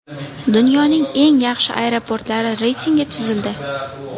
Dunyoning eng yaxshi aeroportlari reytingi tuzildi.